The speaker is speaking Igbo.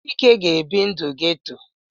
Chike ga-ebi ndụ ghetto.